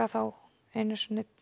þá einu sinni